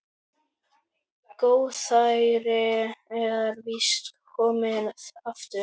Góðærið er víst komið aftur.